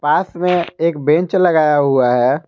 पास में एक बेंच लगाया हुआ है।